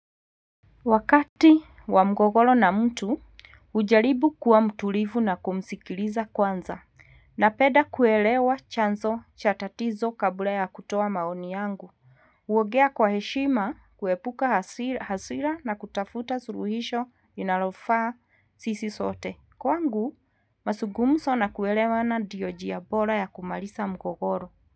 Wakati wa mgogoro na mtu, ujaribu kuwa mtulivu na kumsikiliza kwanza. Napenda kuelewa chanzo cha tatizo kabla ya kutoa maoni yangu. Kuongea kwa heshima kuepuka hasira na kutafuta suluhisho linalofaa sisi sote. Kwangu, mazungumzo na kuelewana ndio njia bora ya kumaliza mgogoro.